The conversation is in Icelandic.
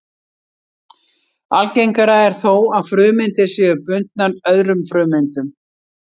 Algengara er þó að frumeindir séu bundnar öðrum frumeindum.